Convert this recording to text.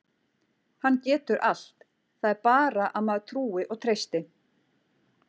Hann getur allt, það er bara að maður trúi og treysti.